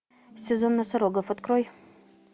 сезон носорогов открой